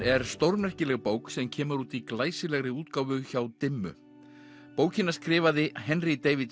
er stórmerkileg bók sem kemur úr í glæsilegri útgáfu hjá dimmu bókina skrifaði Henry David